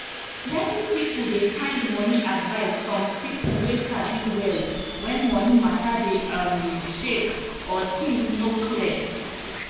plenty people dey find money advice from people wey sabi well when money matter dey um shake or things no clear.